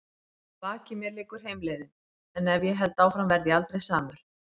Að baki mér liggur heimleiðin- en ef ég held áfram verð ég aldrei samur.